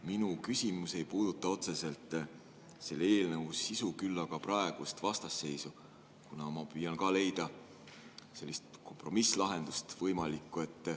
Minu küsimus ei puuduta otseselt selle eelnõu sisu, küll aga praegust vastasseisu, kuna ma püüan ka leida sellist võimalikku kompromisslahendust.